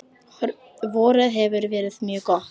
Vorið hefur verið mjög gott.